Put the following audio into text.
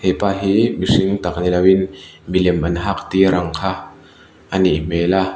hepa hi mihring tak nilo in milem an hak tir ang kha anih hmel a.